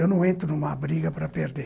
Eu não entro numa briga para perder.